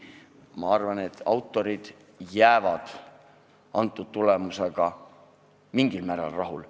Ma arvan, et autorid jäävad tulemusega mingil määral rahule.